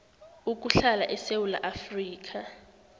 ukuhlala esewula afrika